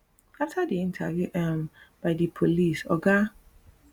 afta di interview um by di police oga